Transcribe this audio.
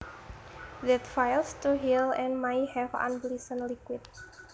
that fails to heal and may have unpleasant liquid